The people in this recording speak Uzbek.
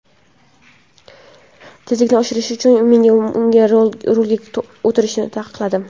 Tezlikni oshirgani uchun men unga rulga o‘tirishni taqiqladim.